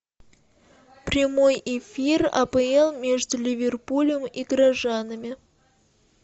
прямой эфир апл между ливерпулем и горожанами